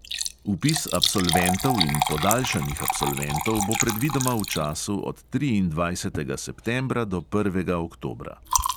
Vpis absolventov in podaljšanih absolventov bo predvidoma v času od triindvajsetega septembra do prvega oktobra.